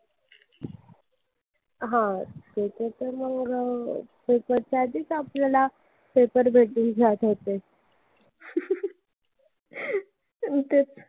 हम्म paper चं मंग paper च्या आधीच आपल्याला paper पेपर भेटून जायचा. हम्म